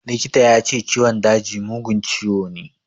Likita ya ce ciwon daji mugun ciwo ne.